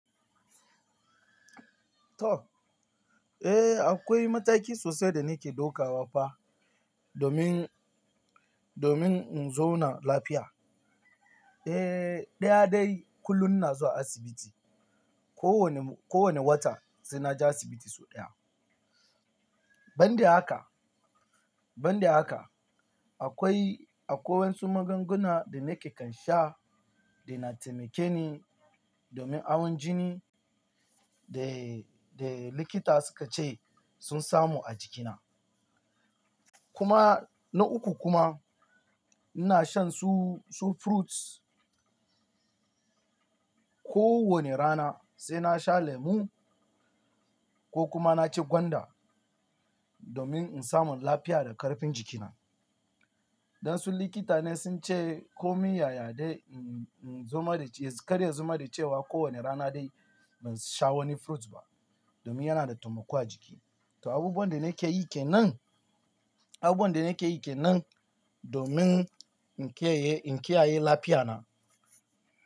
To. Eh, akwai mataki sosai da nake ɗauka wa fa domin, domin in zo na lafiya. Eh, ɗyaɗayi kullum na zo asibiti. Ko wane, ko wane wata sai na je asibiti sau ɗaya. Ban da haka, ban da haka akwai, akwai wasu magunguna da nake kan sha da na taimake ni domin awon jini da, da likita suka ce sun samu a jikina. Kuma na uku kuma ina shan su, su fruits ko wane rana sai na sha lemu ko kuma na ci gwanda domin in samu lafiya da ƙarfin jikina. Dan su likita ne sun ce ko min yaya dai in, in zama da ci, kar in zama da cewa ko wane rana dai ban sha wani fruits ba domin yana da taimako a jiki. To abubuwan da nake yi ke nan, abubuwan da nake yi ke nan domin in ƙi yi, in ƙi a yi lafiya na.